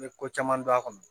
N bɛ ko caman dɔn a kɔnɔ